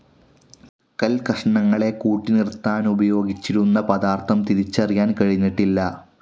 കൽകഷ്ണങ്ങളെ കൂട്ടിനിർത്താനുപയോഗിച്ചിരിക്കുന്ന പദാർത്ഥം തിരിച്ചറിയാൻ കഴിഞ്ഞിട്ടില്ല.